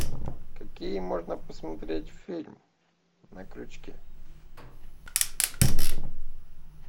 какие можно посмотреть фильм на крючке